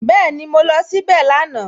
Bẹ́ẹ̀ni, mo lọ síbẹ̀ lánàá